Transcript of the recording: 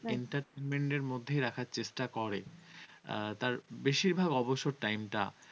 entertainment এর মধ্যে রাখার চেষ্টা করে। আর তার বেশিরভাগ অবসর time টা